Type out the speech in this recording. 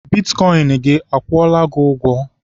Bitkọịn gị akwụọla gị ụgwọ?